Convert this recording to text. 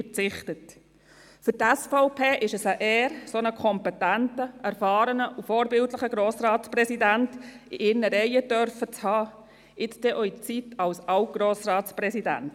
Für die SVP ist es eine Ehre, einen dermassen kompetenten, erfahrenen und vorbildlichen Grossratspräsidenten in ihren Reihen haben zu dürfen, jetzt auch in Ihrer Zeit als Alt-Grossratspräsident.